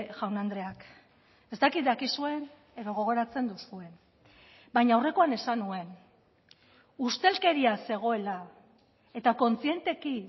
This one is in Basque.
jaun andreak ez dakit dakizuen edo gogoratzen duzuen baina aurrekoan esan nuen ustelkeria zegoela eta kontzienteki